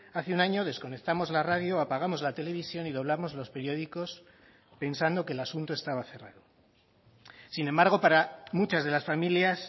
hace un año desconectamos la radio apagamos la televisión y doblamos los periódicos pensando que el asunto estaba cerrado sin embargo para muchas de las familias